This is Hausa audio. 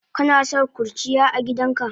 Kanason kurciya agidanka?